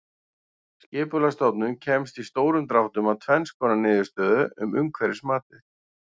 Skipulagsstofnun komst í stórum dráttum að tvenns konar niðurstöðu um umhverfismatið.